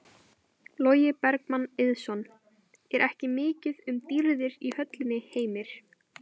Logi Bergmann Eiðsson: Er ekki mikið um dýrðir í höllinni Heimir?